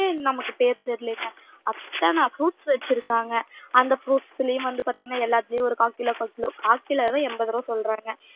நமக்கு பேர் தெரியலைங்க அத்தனை fruits வச்சிருக்காங்க அந்த fruits லயும் வந்து பாத்தீங்கன்னா எல்லாத்துலயும் ஒரு கால் கிலோ கால் கிலோ கால் கிலோவே எண்பது ரூபாய் சொல்றாங்க